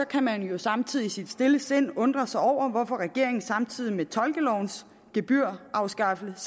kan man jo samtidig i sit stille sind undre sig over hvorfor regeringen samtidig med at tolkelovens gebyr afskaffes